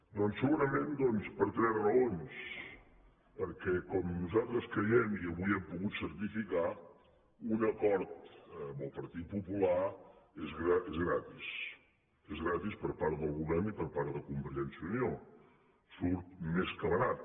doncs segurament per tres raons perquè com nosaltres creiem i avui hem pogut certificar un acord amb el partit popular és gratis és gratis per part del govern i per part de convergència i unió surt més que barat